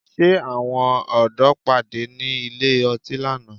Ṣé Àwọn ọ̀dọ́ pàdé ní ilé ọtí lánàá?